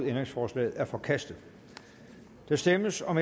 ændringsforslaget er forkastet der stemmes om